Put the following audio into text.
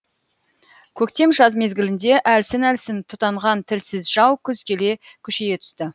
көктем жаз мезгілінде әлсін әлсін тұтанған тілсіз жау күз келе күшейе түсті